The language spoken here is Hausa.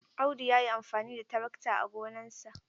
Audu ya yi amfani da tarakta a gonarsa.